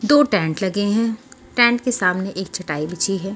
दो टेंट लगे हैं टेंट के सामने एक चटाई बिछी है।